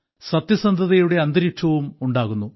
സത്യസന്ധതയുടെ അന്തരീക്ഷവും ഉണ്ടാകുന്നു